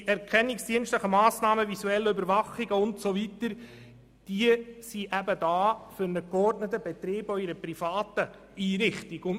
Die erkennungsdienstlichen Massnahmen, visuellen Überwachungen usw. sind dazu da, um einen geordneten Betrieb auch in einer privaten Einrichtung sicherzustellen.